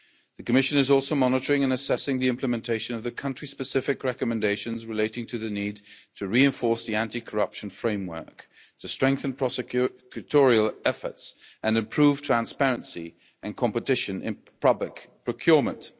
The Commission is also monitoring and assessing the implementation of the country specific recommendations relating to the need to reinforce the anti corruption framework, to strengthen prosecutorial efforts and improve transparency and competition in public procurement.